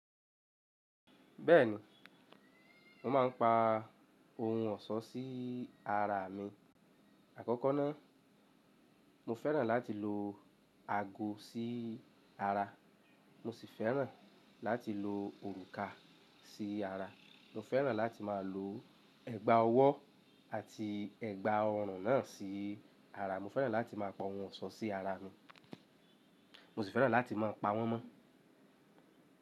Bẹ́ẹ̀ni, mo máa ń pa ohun ọ̀ṣọ́ sí ara mi. Àkọ́kọ́ ná, mo fẹ́ràn láti lo ago sí ara. Mo sì fẹ́ràn láti lo òrùka sí ara. Mo fẹ́ràn láti má lo ẹ̀gbà ọwọ́ àti ẹ̀gbà ọrùn náà sí ara. Mo fẹ́ràn láti má pa ohun ọ̀ṣọ́ sí ara mi. Mo sì fẹ́ràn láti má pa wọ́n mọ́.